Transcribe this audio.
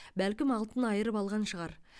бәлкім алтын айырып алған шығар